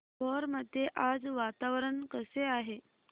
भोर मध्ये आज वातावरण कसे आहे